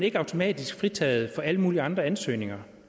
ikke automatisk fritaget for alle mulige andre ansøgninger